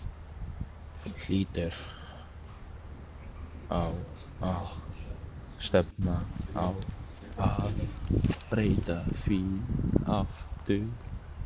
Þú hlýtur á að stefna á að breyta því aftur?